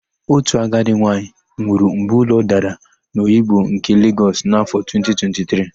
Otu agadi nwaanyị nwụrụ mgbe ụlọ dara n'Oyigbo nke Legọs n'áfọ̀ 2023.